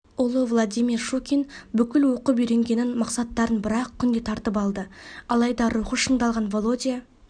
ұлы владимир щукин бүкіл оқып-үйренгенін мақсаттарын бір ақ күнде тартып лады алайда рухы шыңдалған володя